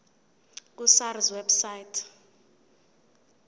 ku sars website